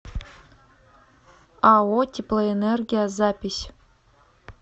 ао теплоэнергия запись